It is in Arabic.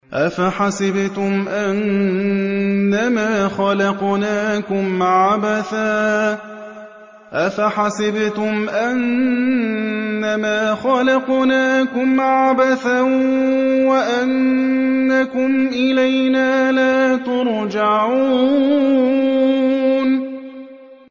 أَفَحَسِبْتُمْ أَنَّمَا خَلَقْنَاكُمْ عَبَثًا وَأَنَّكُمْ إِلَيْنَا لَا تُرْجَعُونَ